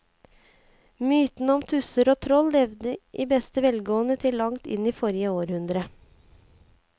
Mytene om tusser og troll levde i beste velgående til langt inn i forrige århundre.